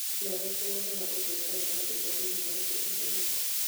Dolores nĩ wonaga ũndũ ũtarĩ wa ndũire thĩinĩ wa thĩ ĩno yaku.